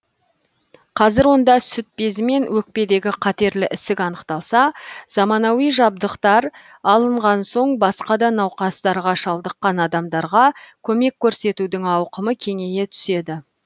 қазір онда сүт безі мен өкпедегі қатерлі ісік анықталса заманауи жабдықтар алынған соң басқа да науқастарға шалдыққан адамдарға көмек көрсетудің ауқымы кеңейе түседі